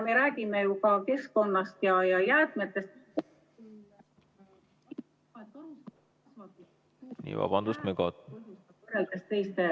Me räägime ju ka keskkonnast ja jäätmetest.